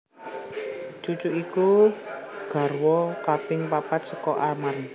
Cucu iku garwa kaping papat saka Arman